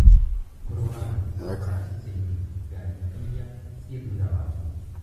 Kũrũgama. Rora icicio-inĩ ngari iria ciĩ thutha waku.